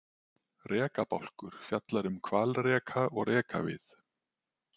Rekabálkur fjallar um hvalreka og rekavið.